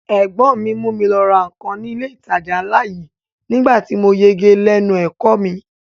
Ẹ̀gbọ́n mi mú mi lọ ra nǹkan ní ilé ìtajà ńlá yìí nígbà tí mo yege lẹ́nu ẹ̀kọ́ ọ mi